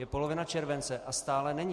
Je polovina července a stále není.